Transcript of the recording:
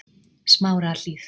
Smárahlíð